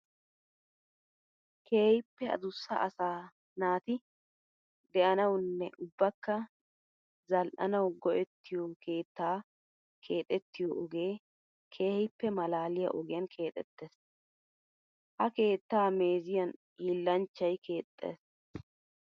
Keehippe adussa asaa naati de'annawunne ubbakka zali'annawu go'ettiyo keetta keexxetiyo ogee keehippe malaaliya ogiyan keexetees. Ha keetta meeziyan hiillanchchay keexess.